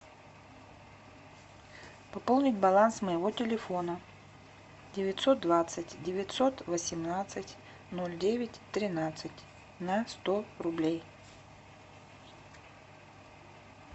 пополнить баланс моего телефона девятьсот двадцать девятьсот восемнадцать ноль девять тринадцать на сто рублей